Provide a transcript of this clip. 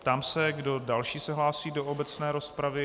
Ptám se, kdo další se hlásí do obecné rozpravy.